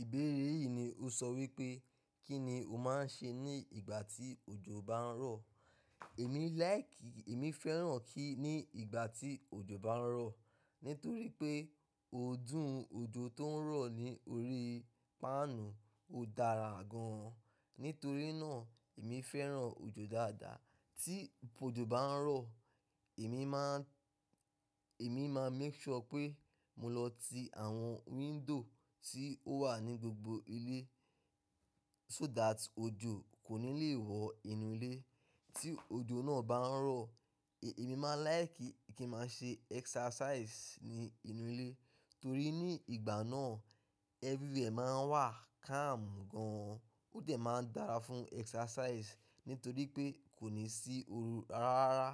Ìbéèrè yìí ni ó sọ wípé, kí ni o máa ń ṣe ní ìgbà tí òjò bá ń rọ̀? Èmi láìkí, èmi fẹ́ràn kí ní ìgbà tí òjò bá ń rọ̀ nítorí pé ọ̀ọ́dún òjò tó ń rọ̀ ní orí páànù ó dára gan. Nítorí náà èmi fẹ́ràn òjò dáadáa. Tí òjò bá ń rọ̀, èmi máa, èmi máa make sure pé mo lọ ti àwọn window tí ó wà ní gbogbo ilé so that òjò kò ní lè wọ inú ilé. Tí òjò náà bá ń rọ̀, èmi máa láìkí kí n máa ṣe exercise ní inú ilé torí ní ìgbà náà everywhere máa ń wà calm gan, ó dẹ̀ máa ń dára fún exercise nítorí pé kò ní sí oru rárá.